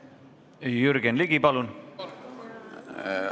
Jürgen Ligi, palun!